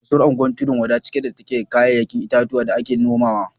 Kasuwar unguwar tudun-wada cike take da ‘ya’yan itatuwa da ake nomawa